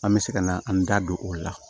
An bɛ se ka na an da don o la